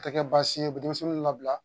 Tɛ kɛ baasi ye denmisɛnnin labila